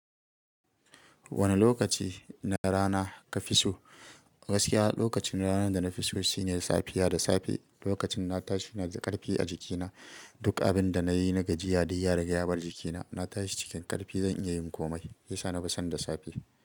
Wane lokaci na rana ka fi so? Gaskiya lokaci na rana da na fi so shine safiya da safe. Lokacin na tashi na da ƙarfi a jikina. Duk abin da na yi na gajiya dai ya riga ya bar jikina. Na tashi cikin ƙarfi, zan iya yin komai. Ya sa na fi son da safe.